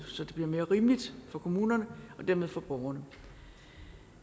så det bliver mere rimeligt for kommunerne og dermed for borgerne